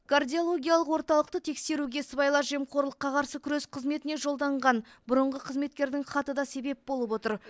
кардиологиялық орталықты тексеруге сыбайлас жемқорлыққа қарсы күрес қызметіне жолданған бұрынғы қызметкердің хаты да себеп болып отыр